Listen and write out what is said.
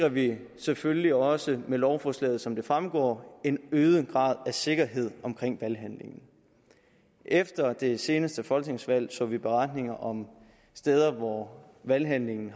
at vi selvfølgelig også med lovforslaget sikrer som det fremgår en øget grad af sikkerhed omkring valghandlingen efter det seneste folketingsvalg så vi beretninger om steder hvor valghandlingen